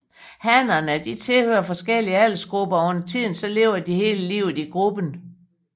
Hannerne tilhører forskellige aldersgrupper og undertiden lever de hele livet i gruppen